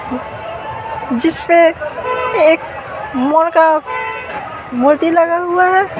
जिसपे एक मोर का मूर्ति लगा हुआ है।